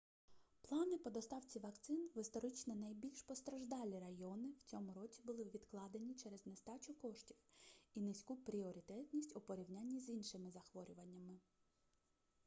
плани по доставці вакцин в історично найбільш постраждалі райони в цьому році були відкладені через нестачу коштів і низьку пріоритетність у порівнянні з іншими захворюваннями